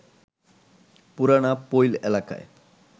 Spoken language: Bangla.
পুরানা পৈল এলাকায়